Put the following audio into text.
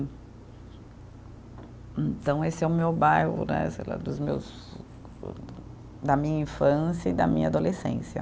Então, esse é o meu bairro, né, sei lá, dos meus da minha infância e da minha adolescência.